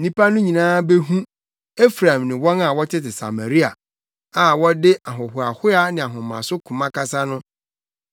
Nnipa no nyinaa behu, Efraim ne wɔn a wɔtete Samaria a wɔde ahohoahoa ne ahomaso koma kasa no,